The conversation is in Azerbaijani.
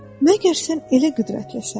Məgər sən elə qüdrətlisən?